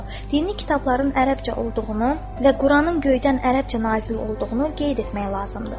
Dini kitabların ərəbcə olduğunu və Quranın göydən ərəbcə nazil olduğunu qeyd etmək lazımdır.